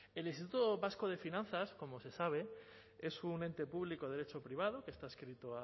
el instituto vasco de finanzas como se sabe es un ente público de derecho privado que está adscrito